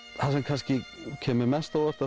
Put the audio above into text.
það sem kemur mest á óvart